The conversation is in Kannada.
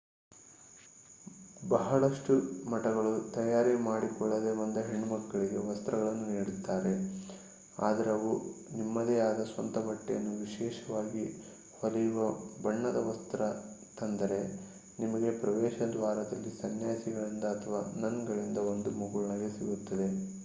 ಬಹಳಷ್ಟು ಮಠಗಳು ತಯಾರಿ ಮಾಡಿಕೊಳ್ಳದೆ ಬಂದ ಹೆಣ್ಣು ಮಕ್ಕಳಿಗೆ ವಸ್ತ್ರಗಳನ್ನು ನೀಡುತ್ತಾರೆ ಆದರೆ ನೀವು ನಿಮ್ಮದೆ ಆದ ಸ್ವಂತ ಬಟ್ಟೆಯನ್ನು ವಿಶೇಷವಾಗಿ ಹೊಳೆಯುವ ಬಣ್ಣದ ವಸ್ತ್ರ ತಂದರೆ ನಿಮಗೆ ಪ್ರವೇಶದ್ವಾರದಲ್ಲಿ ಸನ್ಯಾಸಿಗಳಿಂದ ಅಥವಾ ನನ್ಗಳಿಂದ ಒಂದು ಮುಗುಳ್ನಗೆ ಸಿಗುತ್ತದೆ